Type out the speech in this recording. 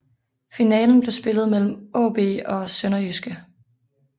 Finalen blev spillet mellem AaB og SønderjyskE